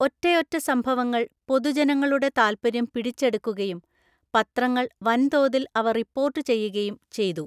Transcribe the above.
ഒറ്റയൊറ്റ സംഭവങ്ങൾ പൊതുജനങ്ങളുടെ താൽപ്പര്യം പിടിച്ചെടുക്കുകയും പത്രങ്ങൾ വൻതോതിൽ അവ റിപ്പോർട്ട് ചെയ്യുകയും ചെയ്തു.